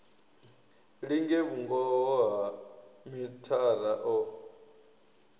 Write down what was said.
linge vhungoho ha mithara o